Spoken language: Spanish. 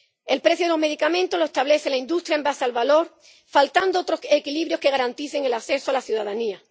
El precio de los medicamentos lo establece la industria sobre la base del valor, faltando otros equilibrios que garanticen el acceso a la ciudadanía.